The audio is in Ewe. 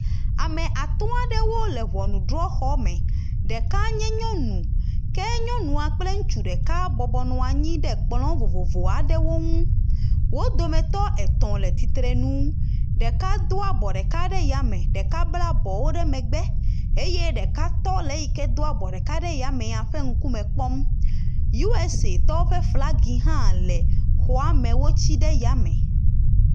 Ame atɔ aɖewo le ŋɔnudrɔxɔme. Ɖeka nye nyɔnu ke nyɔnu a kple ŋutsu ɖeka bɔbɔnɔ anyi ɖe kplɔ vovovo aɖewo ŋu. Wo dometɔ etɔ̃ le tsitre nu. Ɖeka do abɔ ɖeka ɖe yame, ɖeka bla bɔwo ɖe megbe eye ɖeka tɔ le eyi ke do abɔ ɖeka ɖe yamea ƒe ŋkume kpɔm. USAtɔwo ƒe flaga hã le xɔame wotsi ɖe yame.